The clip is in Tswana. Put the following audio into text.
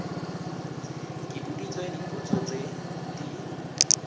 ke boditswe dipotso tse di